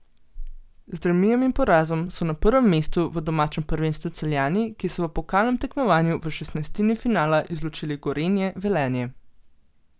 Z remijem in porazom so na prvem mestu v domačem prvenstvu Celjani, ki so v pokalnem tekmovanju v šestnajstini finala izločili Gorenje Velenje.